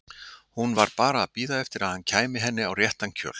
Hún var bara að bíða eftir að hann kæmi henni á réttan kjöl.